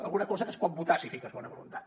alguna cosa que es pot votar si hi fiques bona voluntat